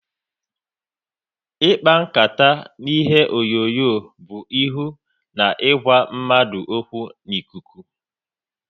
Ịkpa nkata na ihe onyonyo bụ ihu na ịgwa mmadụ okwu n'ikuku